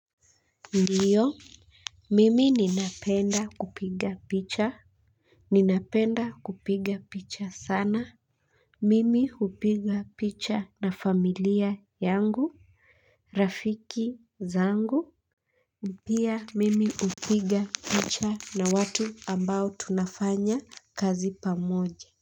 Ndio, mimi ninapenda kupiga picha ninapenda kupiga picha sana mimi hupiga picha na familia yangu, rafiki zangu pia mimi hupiga picha na watu ambao tunafanya kazi pamoja kwa hivyo.